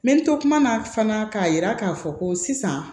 Me to kuma na fana k'a jira k'a fɔ ko sisan